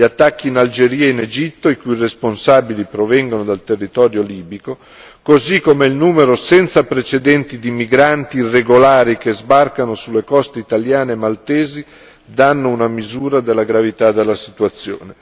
Gli attacchi in Algeria e in Egitto, i cui responsabili provengono dal territorio libico, così come il numero senza precedenti di migranti irregolari che sbarcano sulle coste italiane e maltesi, danno una misura della gravità della situazione.